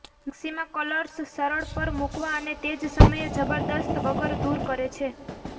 maxima colours સરળ પર મૂકવા અને તે જ સમયે જબરદસ્ત વગર દૂર કરે છે